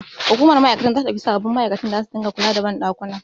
Hukumar ma'aikatar zata ɗauki sababbin ma'aikata da zasu dinga kula da banɗakuna.